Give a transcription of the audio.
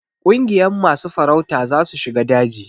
Kungiyan masu farauta za su shiga daji.